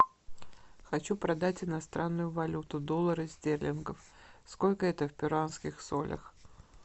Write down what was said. хочу продать иностранную валюту доллары стерлингов сколько это в перуанских солях